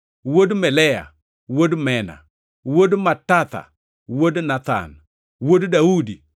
wuod Melea, wuod Mena, wuod Matatha, wuod Nathan, wuod Daudi,